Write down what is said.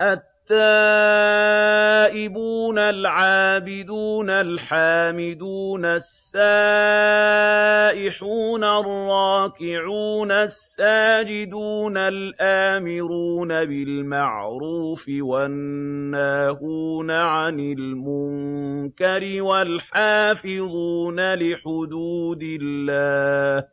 التَّائِبُونَ الْعَابِدُونَ الْحَامِدُونَ السَّائِحُونَ الرَّاكِعُونَ السَّاجِدُونَ الْآمِرُونَ بِالْمَعْرُوفِ وَالنَّاهُونَ عَنِ الْمُنكَرِ وَالْحَافِظُونَ لِحُدُودِ اللَّهِ ۗ